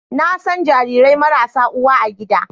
Na san jarirai marasa uwa a gida